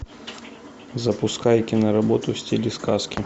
запускай киноработу в стиле сказки